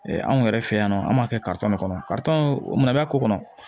anw yɛrɛ fɛ yan nɔ an b'a kɛ kɔnɔ mun bɛ a ko kɔnɔ